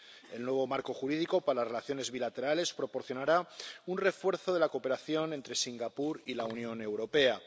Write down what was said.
El nuevo marco jurídico para las relaciones bilaterales proporcionará un refuerzo de la cooperación entre Singapur y la Unión Europea.